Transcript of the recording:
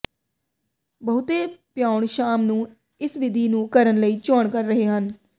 ਬਹੁਤੇ ਪਿਆਉਣ ਸ਼ਾਮ ਨੂੰ ਇਸ ਵਿਧੀ ਨੂੰ ਕਰਨ ਲਈ ਚੋਣ ਕਰ ਰਹੇ ਹਨ